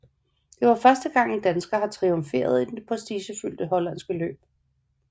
Det var første gang en dansker har triumferet i det prestigefulde hollandske løb